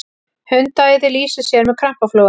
hundaæði lýsir sér með krampaflogum